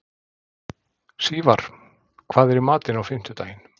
Sívar, hvað er í matinn á fimmtudaginn?